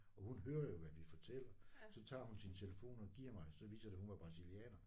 Og hun hører jo hvad vi fortæller. Så tager hun sin telefon og giver mig så viser det hun var brasilianer